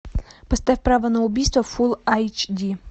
поставь право на убийство фул айч ди